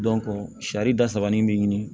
saridaba ni be ɲini